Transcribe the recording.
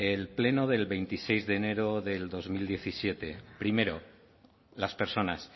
eh el pleno del veintiséis de enero del dos mil diecisiete primero las personas